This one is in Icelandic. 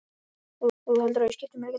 Gera pabbi þinn og mamma svona?